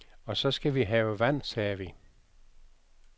Og så skal vi have vand, sagde vi.